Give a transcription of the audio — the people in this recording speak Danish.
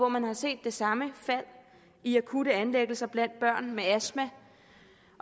man set det samme fald i akutte indlæggelser blandt børn med astma